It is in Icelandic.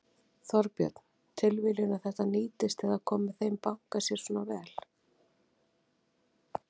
Þorbjörn: Tilviljun að þetta nýtist eða komi þeim banka sér svona vel?